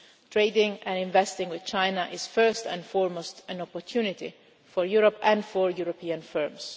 Trading and investing with China is first and foremost an opportunity for Europe and for European firms.